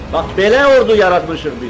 Bax belə ordu yaratmışıq biz.